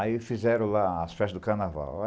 Aí fizeram lá as festas do carnaval.